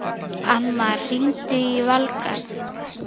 Annmar, hringdu í Valgarð.